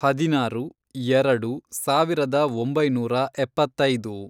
ಹದಿನಾರು, ಎರೆಡು, ಸಾವಿರದ ಒಂಬೈನೂರ ಎಪ್ಪತ್ತೈದು